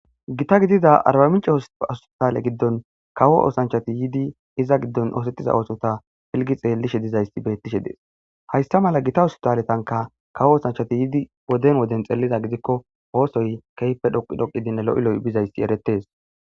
Gita gidida arbaminca hosastaale giddon kawo oosanchati yiidi iza giddon oosettiza oosota filgi xeellishe dizayssi beettishe dees haysta mala gita wostaletanka kawo oosanchati yiidi woden woden xeelida gidikko oosoy keeype dhoqi dhoqidine lo'i lo'i bizayssi eretees.